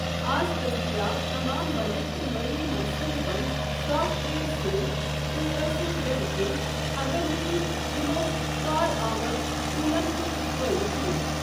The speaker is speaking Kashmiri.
آز دٔستِیاب تمام بجٹ تہٕ مٲلی منصوٗبہٕ بندِ سافٹ ویئر سۭتۍ، تُہۍ ٲسِو بیوقوف اگر نہٕ تہۍ یِمَو کارآمد ٹوُلن ہُنٛد فٲیِدٕ تُلِو۔